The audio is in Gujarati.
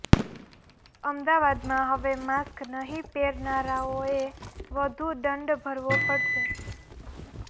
અમદાવાદમાં હવે માસ્ક નહીં પહેરનારાઓએ વધુ દંડ ભરવો પડશે